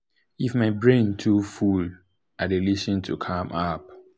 if my brain too too full i dey lis ten to calm app.